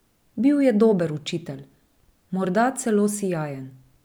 Bil je dober učitelj, morda celo sijajen.